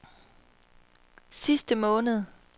sidste måned